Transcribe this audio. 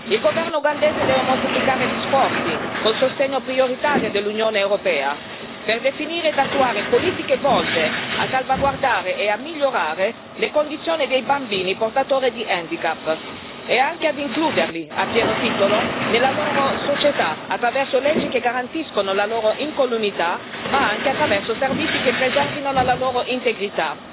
Il governo ugandese deve moltiplicare gli sforzi, con il sostegno prioritario dell'Unione europea, per definire ed attuare politiche volte a salvaguardare e a migliorare le condizioni dei bambini portatori di handicap, e anche ad includerli a pieno titolo nella loro società attraverso leggi che garantiscano la loro incolumità, ma anche attraverso servizi che preservino la loro integrità.